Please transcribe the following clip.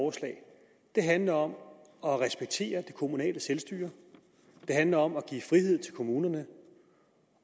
det handler om at respektere det kommunale selvstyre det handler om at give frihed til kommunerne